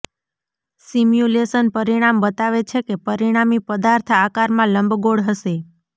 simulation પરિણામ બતાવે છે કે પરિણામી પદાર્થ આકારમાં લંબગોળ હશે